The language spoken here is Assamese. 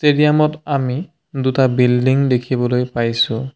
ষ্টেডিয়ামত আমি দুটা বিল্ডিং দেখিবলৈ পাইছোঁ।